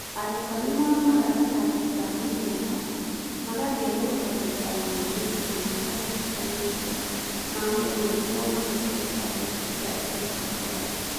Arutwo nĩ moimaga kĩrathi kĩa mũhiano magathiũrũrũka gĩikaro-inĩ gĩkĩ mahinda matiganĩte ma mũthenya nĩguo mahũthĩre tablet cia DPL.